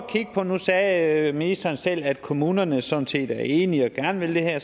og nu sagde ministeren selv at kommunerne sådan set er enige og gerne vil det her